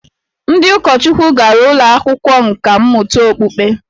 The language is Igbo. Ndị ụkọchukwu gara ụlọ akwụkwọ nkà mmụta okpukpe